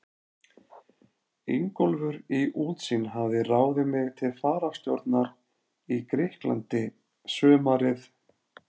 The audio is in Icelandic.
Ingólfur í Útsýn hafði ráðið mig til fararstjórnar í Grikklandi sumarið